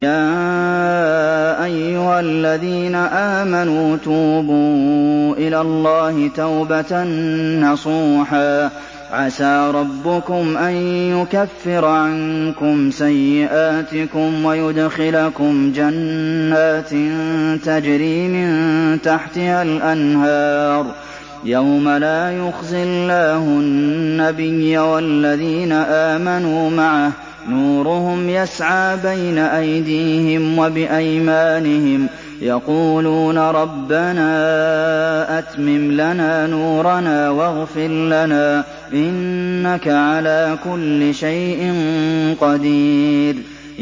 يَا أَيُّهَا الَّذِينَ آمَنُوا تُوبُوا إِلَى اللَّهِ تَوْبَةً نَّصُوحًا عَسَىٰ رَبُّكُمْ أَن يُكَفِّرَ عَنكُمْ سَيِّئَاتِكُمْ وَيُدْخِلَكُمْ جَنَّاتٍ تَجْرِي مِن تَحْتِهَا الْأَنْهَارُ يَوْمَ لَا يُخْزِي اللَّهُ النَّبِيَّ وَالَّذِينَ آمَنُوا مَعَهُ ۖ نُورُهُمْ يَسْعَىٰ بَيْنَ أَيْدِيهِمْ وَبِأَيْمَانِهِمْ يَقُولُونَ رَبَّنَا أَتْمِمْ لَنَا نُورَنَا وَاغْفِرْ لَنَا ۖ إِنَّكَ عَلَىٰ كُلِّ شَيْءٍ قَدِيرٌ